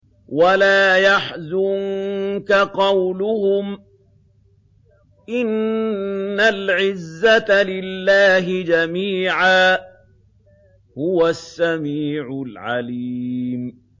وَلَا يَحْزُنكَ قَوْلُهُمْ ۘ إِنَّ الْعِزَّةَ لِلَّهِ جَمِيعًا ۚ هُوَ السَّمِيعُ الْعَلِيمُ